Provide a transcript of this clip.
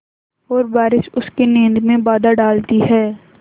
और बारिश उसकी नींद में बाधा डालती है